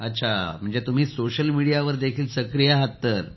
अच्छा तुम्ही समाज माध्यमांवर सक्रीय आहात